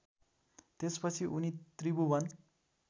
त्यसपछि उनी त्रिभुवन